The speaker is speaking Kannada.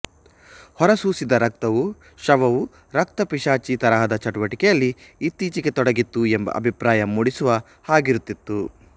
ಹೊರಸೂಸಿದ ರಕ್ತವು ಶವವು ರಕ್ತಪಿಶಾಚಿ ತರಹದ ಚಟುವಟಿಕೆಯಲ್ಲಿ ಇತ್ತೀಚೆಗೆ ತೊಡಗಿತ್ತು ಎಂಬ ಅಭಿಪ್ರಾಯ ಮೂಡಿಸುವ ಹಾಗಿರುತ್ತಿತ್ತು